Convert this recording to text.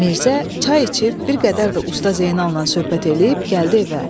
Mirzə çay içib bir qədər də Usta Zeynalnan söhbət eləyib, gəldi evə.